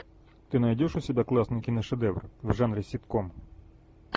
ты найдешь у себя классный киношедевр в жанре ситком